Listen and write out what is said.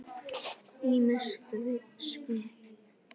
Ýmis svið.